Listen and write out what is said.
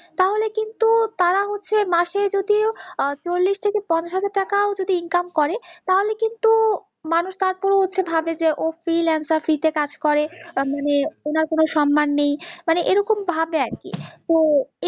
তো এইযে মাসে যদিও চল্লিশ থেকে পঞ্চাশ হাজার টাকাও যদিও income করে তালে কিন্তু মানুষ তারপরেও হচ্ছে ভাবে যে ও freelancer free তে কাজ করে, মানে উনার কোনও সম্মান নেই, মানে এরকম ভাবে আর কি